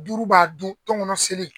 Duuru b'a dun tɔnkɔnɔ selen.